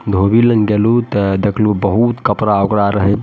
धोबी लंग गेलू ते देखलू बहुत कपड़ा ओकरा रहे --